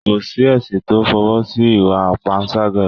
kò sí ẹ̀sìn to f'ọwọ́ si ìwà panṣágà